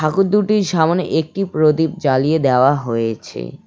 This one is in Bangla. ঠাকুর দুটির সামোনে একটি প্রদীপ জ্বালিয়ে দেওয়া হয়েছে।